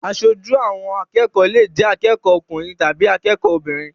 Aṣojú àwọn akẹ́kọ̀ọ́ lè jẹ́ akẹ́kọ̀ọ́ ọkùnrin tàbí akẹ́kọ̀ọ́ obìnrin.